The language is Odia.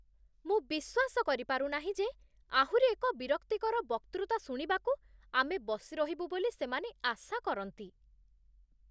ମୁଁ ବିଶ୍ୱାସ କରିପାରୁ ନାହିଁ ଯେ ଆହୁରି ଏକ ବିରକ୍ତିକର ବକ୍ତୃତା ଶୁଣିବାକୁ ଆମେ ବସିରହିବୁ ବୋଲି ସେମାନେ ଆଶା କରନ୍ତି।